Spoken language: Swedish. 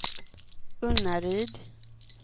Unnaryd